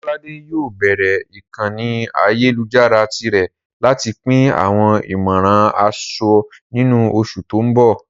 Ololade yóò bẹ̀rẹ̀ ìkànnì ayélujára tirẹ̀ láti pín àwọn ìmọ̀ràn aṣọ ní oṣù tó ń bọ̀.